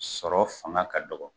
Sɔrɔ fanga ka dɔgɔ